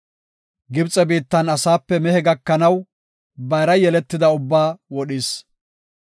Gibxe biittan asape mehe gakanaw, bayra yeletida ubbaa wodhis.